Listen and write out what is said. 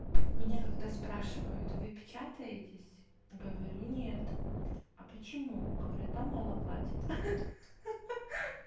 меня когда спрашивают вы печатаетесь говорю нет а почему говорю там мало платят ха-ха-ха